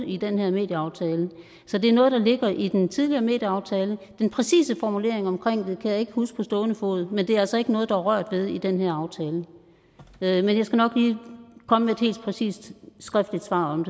i den her medieaftale så det er noget der ligger i den tidligere medieaftale den præcise formulering omkring det kan jeg ikke huske på stående fod men det er altså ikke noget der er rørt ved i den her aftale men jeg skal nok lige komme med et helt præcist skriftligt svar om